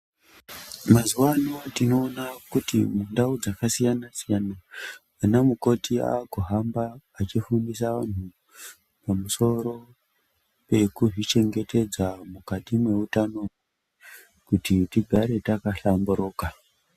Mazuwaano tinoona kuti mundau dzakasiyana-siyana, ana mukoti akuhamba, achifundisa vantu pamusoro pekuzvichengetedza mukati mweutano ,kuti tigare takahlamburuka.